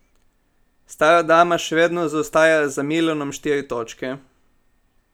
Stara dama še vedno zaostaja za Milanom štiri točke.